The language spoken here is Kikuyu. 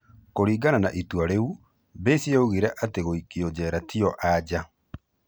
Kũrigana na itua rĩu, Baze yaugire atĩ gũikio njera tiyo anja.